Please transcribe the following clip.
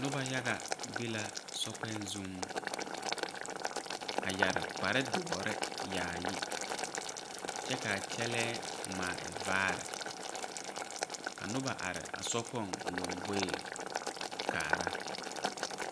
Nobɔ yaga be la sokpèɛɛ zuŋ a yɛre kpare doɔre yaayi kyɛ kaa kyɛlɛɛ ngmaa a e vaare ka nobɔ are a sokpoŋ lomboreŋ kaara.